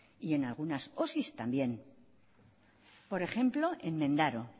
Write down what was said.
y en algunas osi también por ejemplo en mendaro